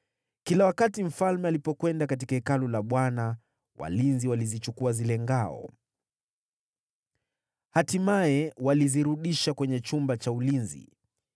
Kila wakati mfalme alipokwenda katika Hekalu la Bwana , walinzi walizichukua hizo ngao, na baadaye walizirudisha kwenye chumba cha ulinzi.